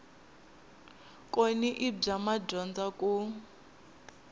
kona i bya madyondza ku